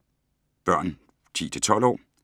Børn 10-12 år